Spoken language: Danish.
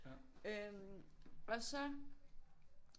Øh og så